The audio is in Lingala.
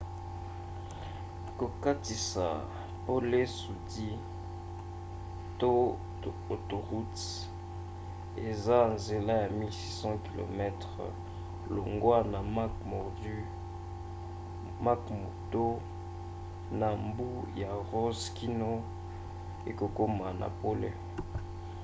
kokatisa pole sudi to autoroute eza nzela ya 1 600 km longwa na mcmurdo na mbu ya ross kino okokoma na pole